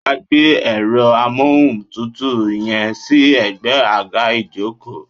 Wàá gbé èro amóhùn tútù yẹn sí egbé àga ìjókòó